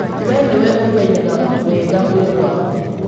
We nĩwe ũmenyaga wega mwĩrĩ waku.